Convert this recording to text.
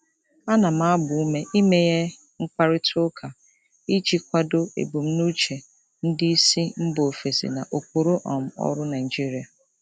Ana m agba ume imeghe mkparịta ụka iji kwado ebumnuche ndị isi mba ofesi na ụkpụrụ um ọrụ Naijiria.